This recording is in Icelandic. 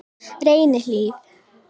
Reynihlíð